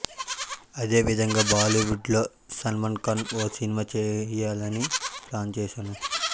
అదేవిధంగా బాలీవుడ్లో సల్మాన్ఖాన్తో ఓ సినిమా చేయాలని ప్లాన్ చేశాను